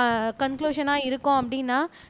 ஆஹ் கன்குலுசனா இருக்கும் அப்படின்னா